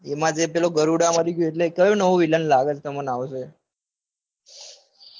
એમાં જે ગરુડમાં એટલે કયો villain લાગે છે તમને નવો.